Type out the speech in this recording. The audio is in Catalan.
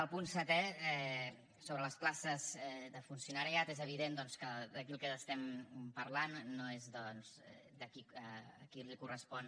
al punt setè sobre les places de funcionariat és evident doncs que aquí del que estem parlant no és doncs de a qui li correspon